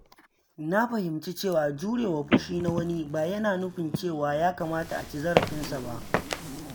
Na fahimci cewa jure wa fushi na wani ba yana nufin cewa ya kamata a ci zarafina ba.